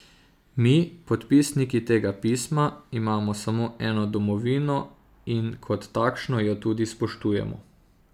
Mi, podpisniki tega pisma, imamo samo eno domovino in kot takšno jo tudi spoštujemo.